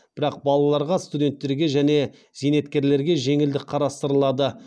бірақ балаларға студенттерге және зейнеткерлерге жеңілдік қарастырылады